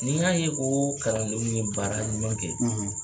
N'i y'a ye ko kalandenw ye baara ɲuman kɛ